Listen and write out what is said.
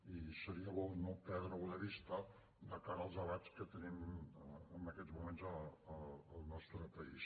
i seria bo no perdre ho de vista de cara als debats que tenim en aquests moments al nostre país